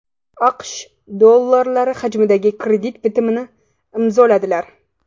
AQSh dollari hajmidagi kredit bitimini imzoladilar.